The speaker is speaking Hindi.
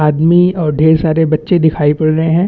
आदमी और ढेर सारे बच्चे दिखाई पड़ रहे है।